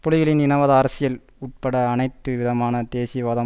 புலிகளின் இனவாத அரசியல் உட்பட அனைத்து விதமான தேசியவாதம்